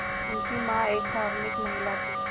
उनकी मां एक धार्मिक महिला थीं